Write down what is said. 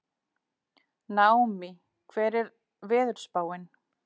Naómí, hvernig er veðurspáin?